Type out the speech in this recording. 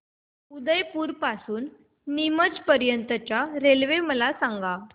उदयपुर पासून ते नीमच पर्यंत च्या रेल्वे मला सांगा